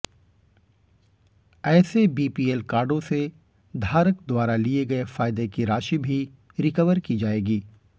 ऐसे बीपीएल कार्डों से धारक द्वारा लिए गए फायदे की राशि भी रिकवर की जाएगी